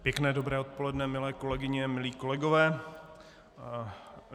Pěkné dobré odpoledne, milé kolegyně, milí kolegové.